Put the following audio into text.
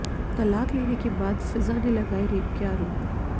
तलाक देने के बाद फिजा ने लगाए रेप के आरोप